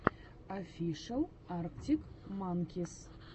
офишел арктик манкис